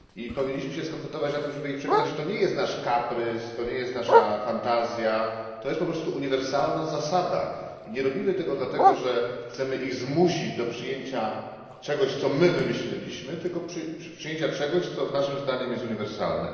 Powinniśmy się skoncentrować na tym, żeby ich przekonać, że to nie jest nasz kaprys, to nie jest nasza fantazja, że to jest po prostu uniwersalna zasada i że nie robimy tego dlatego, że chcemy ich zmusić do przyjęcia czegoś, co my wymyśliliśmy, tylko do przyjęcia czegoś, co naszym zdaniem jest uniwersalne.